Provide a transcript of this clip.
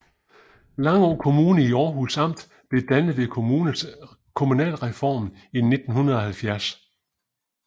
Langå Kommune i Århus Amt blev dannet ved kommunalreformen i 1970